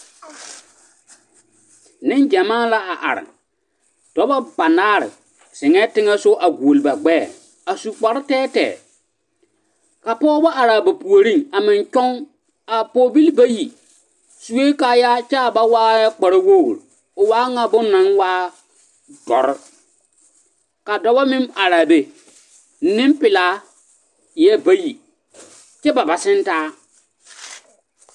Neŋgyɛmaa la a are, dɔbɔ banaare zeŋɛɛ teŋɛ sogɔ a goɔle ba gbɛɛ a su kpare tɛɛtɛɛ ka pɔgebɔ araa ba puoriŋ a meŋ toŋ, a pɔgebil bayi sue kaayaa k'a ba waa nyɛ kpare wogiri, o waa ŋa bone naŋ waa dɔre ka dɔbɔ meŋ araa be, nempelaa eɛ bayi kyɛ ba ba sentaa.